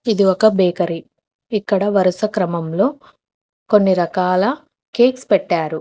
ఇది ఒక బేకరీ ఇక్కడ వరుస క్రమంలో కొన్నిరకాల కేక్స్ పెట్టారు.